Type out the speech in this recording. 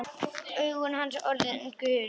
Augu hans orðin gul.